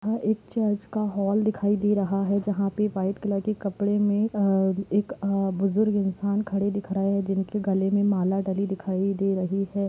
एक चर्च का होल दिखाई दे रहा है जहां पे वाइट कलर के कपडे मे अ एक बुजुर्ग इन्सान खड़े दिख रहे है जिनके गले में माला डाली है दिखाई दे रही है।